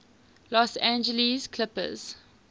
los angeles clippers